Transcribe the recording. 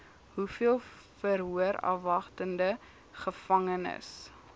hoeveel verhoorafwagtende gevangenes